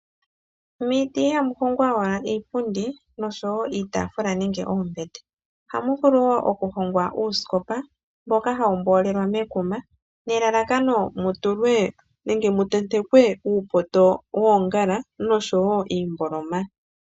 Miiti ihamu hongwa owala iipundi noshowo iitaafula nenge oombete, ohamu vulu wo okuhongwa uusikopa mboka hawu mboolelwa mekuma, nelalakano mu tulwe nenge mu tentekwe uupoto woongala noshowo iimboloma.